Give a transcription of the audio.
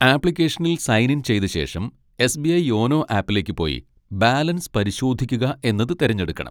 ആപ്ലിക്കേഷനിൽ sign in ചെയ്ത ശേഷം, എസ്ബിഐ യോനോ ആപ്പിലേക്ക് പോയി ബാലൻസ് പരിശോധിക്കുക എന്നത് തിരഞ്ഞെടുക്കണം.